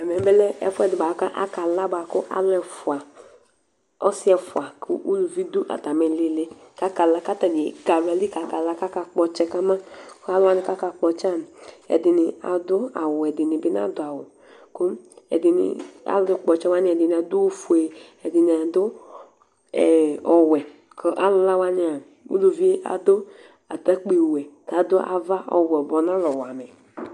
ɛmɛ lɛ ɛfuɛdi boa ku akala bua ku alu ɛfua ɔsi ɛfua ku uluvi du atami lili kakala katanl ké axla ni kakala ka ka kpɔ tsɛ ka ma aluwoani kaka kpɔ tsɛa ɛdini adu awu wɛ ɛdini bi nadu awu ku alu kpɔ tsɛ woani ɛdini adu ofué ɛdini adu ɔwɛ kɔ alu lă woani uluvii adu atakpé wɛ ka adu ava ɔwɛ boa ɔnalɛ ɔwɛ amɛ